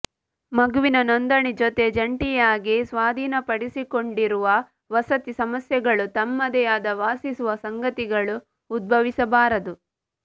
ಮಗುವಿನ ನೋಂದಣಿ ಜೊತೆ ಜಂಟಿಯಾಗಿ ಸ್ವಾಧೀನಪಡಿಸಿಕೊಂಡಿರುವ ವಸತಿ ಸಮಸ್ಯೆಗಳು ತಮ್ಮದೇ ಆದ ವಾಸಿಸುವ ಸಂಗಾತಿಗಳು ಉದ್ಭವಿಸಬಾರದು